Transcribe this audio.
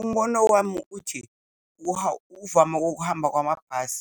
Umbono wami uthi uvame kokuhamba kwamabhasi